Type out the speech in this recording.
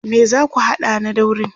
me zaku hada na daurin?